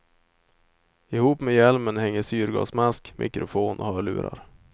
Ihop med hjälmen hänger syrgasmask, mikrofon och hörlurar.